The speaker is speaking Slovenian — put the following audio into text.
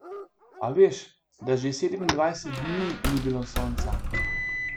A veš, da že sedemindvajset dni ni bilo sonca?